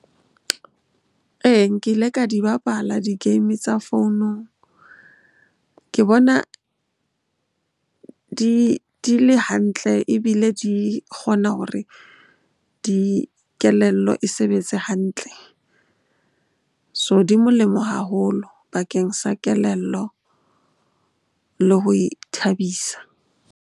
Ee, nkile ka di bapala di-game tsa founung. Ke bona di le hantle ebile di kgona hore di, kelello e sebetse ke hantle. So, di molemo haholo bakeng sa kelello le ho ithabisa.